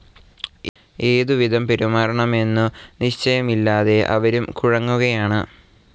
ഏതുവിധം പെരുമാറണമെന്നു നിശ്ചയമില്ലാതെ അവരും കുഴങ്ങുകയാണ്.